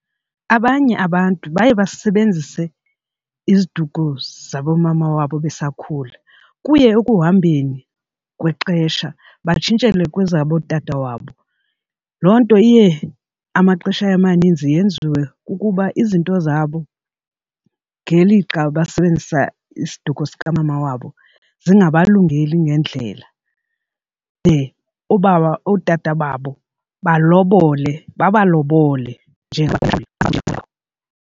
Abanye abantu baye basebenzise iziduko zaboomama wabo besakhula kuye ekuhambeni kwexesha batshintshelwe kwezabootata wabo. Loo nto iye amaxesha amaninzi yenziwe kukuba izinto zabo ngelixa basebenzisa isiduko sikamama wabo zingabangelungeli ngendlela de oobaba ootata babo balobole babalobole .